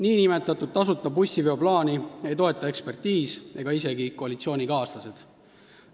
Niinimetatud tasuta bussiveo plaani ei toeta ekspertiis ega isegi koalitsioonikaaslased.